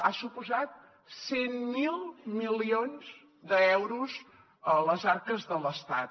ha suposat cent miler milions d’euros a les arques de l’estat